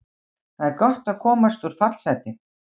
Það er gott að komast úr fallsæti.